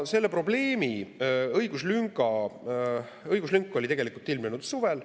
Selle probleemiga seotud õiguslünk ilmnes tegelikult suvel.